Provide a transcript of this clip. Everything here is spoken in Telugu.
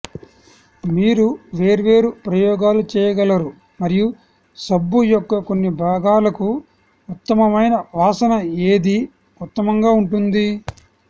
మీరు వేర్వేరు ప్రయోగాలు చేయగలరు మరియు సబ్బు యొక్క కొన్ని భాగాలకు ఉత్తమమైన వాసన ఏది ఉత్తమంగా ఉంటుంది